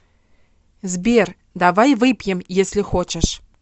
сбер давай выпьем если хочешь